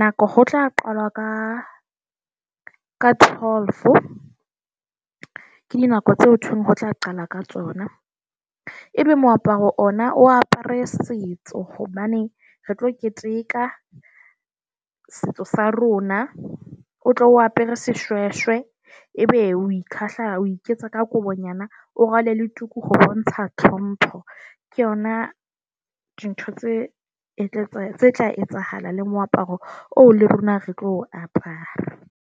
Nako ho tla qalwa ka ka twelve ke dinako tseo ho thweng ho tla qalwa ka tsona. Ebe moaparo ona o apere setso hobane re tlo keteka setso sa rona. O tlo o apere seshweshwe, ebe o kahla o iketsa ka kobonyana. O rwale le tuku bontsha tlhompho. Ke yona dintho tse tla etsahala le moaparo oo le rona re tlo o apara.